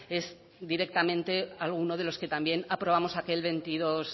es directamente algunos de los que también aprobamos aquel veintidós